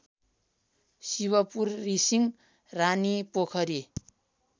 शिवपुर रिसिङ रानीपोखरी